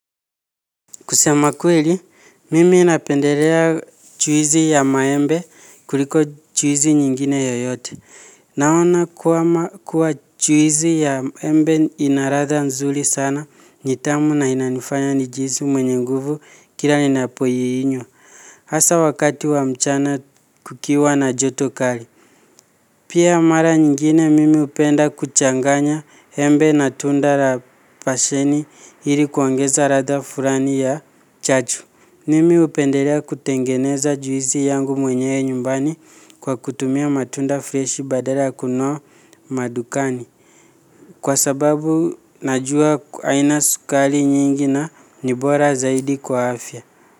Kusema kweli, mimi napendelea juisi ya maembe kuliko juisi nyingine yeyote. Naona kuwa juisi ya embe ina ladha nzuri sana ni tamu na inanifanya nijihisi mwenye nguvu kila ninapoinywa. Hasa wakati wa mchana kukiwa na joto kali. Pia mara nyingine mimi hupenda kuchanganya embe na tunda la pasheni ili kuongeza ladha fulani ya chaju. Mimi hupendelea kutengeneza juisi yangu mwenyewe nyumbani kwa kutumia matunda freshi badala ya kununua madukani. Kwa sababu najua haina sukari nyingi na ni bora zaidi kwa afya.